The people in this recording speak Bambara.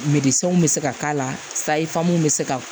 bɛ se ka k'a la sayi famu bɛ se ka